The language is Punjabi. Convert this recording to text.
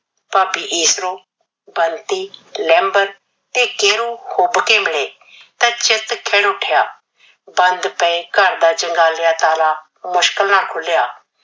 ਭਾਬੀ ਈਸਰੋ, ਬੰਤੀ, ਲੈਂਬਰ ਤੇ ਕੀਨੂ ਹੁਬ ਕੇ ਮਿਲੇ ਤਾਂ ਚਿੱਤ ਖਿੜ ਉਠਿਆ। ਬੰਦ ਪਏ ਘਰ ਦਾ ਜੰਗਾਲਿਆ ਤਾਲਾ ਮੁਸ਼ਕਿਲ ਨਾਲ ਖੁਲਿਆ ।